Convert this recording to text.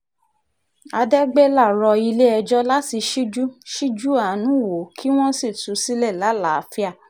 àdẹ́gbẹ́lá rọ ilé-ẹjọ́ láti ṣíjú ṣíjú àánú wò ó kí wọ́n sì tú u sílẹ̀ lálàáfíà